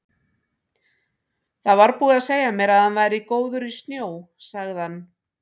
Það var búið að segja mér að hann væri góður í snjó, sagði hann.